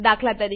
દાત